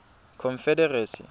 confederacy